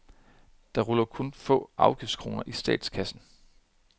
Der ruller kun få afgiftskroner i statskassen.